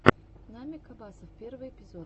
намик абасов первый эпизод